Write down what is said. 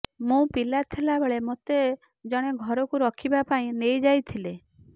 ମୁଁ ପିଲା ଥିଲାବେଳେ ମୋତେ ଜଣେ ଘରକୁ ରଖିବା ପାଇଁ ନେଇଯାଇଥିଲେ